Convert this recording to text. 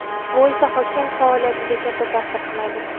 Bu esa hokim faoliyatiga katta ta’sir qiladi.